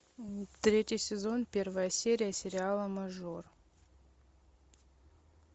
третий сезон первая серия сериала мажор